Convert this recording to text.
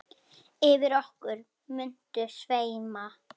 Yfir okkur muntu sveima.